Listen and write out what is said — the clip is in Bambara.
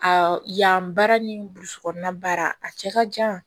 Aa yan baara ni burusi kɔnɔna baara a cɛ ka jan